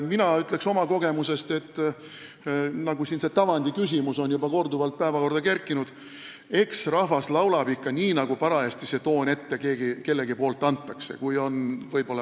Mina ütlen oma kogemusest – siin on see tavandiküsimus juba korduvalt päevakorda kerkinud –, et rahvas laulab ikka nii, nagu keegi parajasti tooni ette annab.